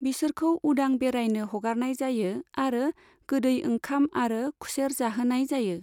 बिसोरखौ उदां बेराइनो हगारनाय जायो आरो गोदै ओंखाम आरो खुसेर जाहोनाय जायो।